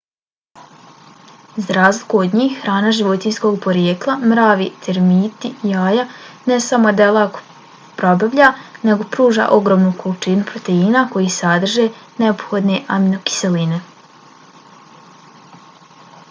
za razliku od njih hrana životinjskog porijekla mravi termiti jaja ne samo da je lako probavljiva nego pruža ogromnu količinu proteina koji sadrže neophodne aminokiseline